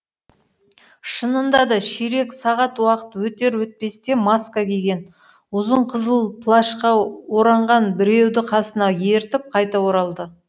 шынында да ширек сағат уақыт өтер өтпесте маска киген ұзын қызыл плашқа оранған біреуді қасына ертіп қайта оралды